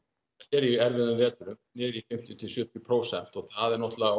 er í fimmtíu til sjötíu prósent og það er náttúrulega